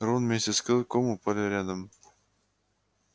рон вместе с клыком упали рядом